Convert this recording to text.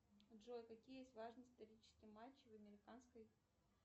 джой какие есть важные исторические матчи в американской